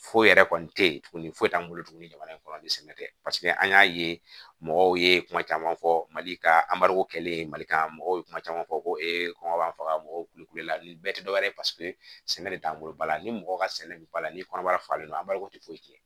Foyi yɛrɛ kɔni tɛ yen tuguni foyi t'an bolo tuguni jamana in kɔnɔ ni sɛnɛ tɛ paseke an y'a ye mɔgɔw ye kuma caman fɔ mali ka kɛlen mali kan mɔgɔw ye kuma caman fɔ ko ee kɔngɔ b'an faga mɔgɔw kulukulu la nin bɛɛ tɛ dɔwɛrɛ ye paseke sɛnɛ de t'an bolo ba la ni mɔgɔ ka sɛnɛ bɛ bala ni kɔnɔbara falen o an b'a ko tɛ foyi kɛ